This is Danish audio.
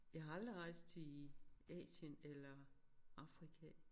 Jeg har aldrig rejst til i Asien eller Afrika